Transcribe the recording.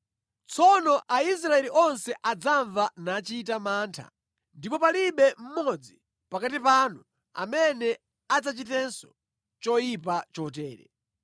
Tsono Aisraeli onse adzamva nachita mantha, ndipo palibe mmodzi pakati panu amene adzachitenso choyipa chotere.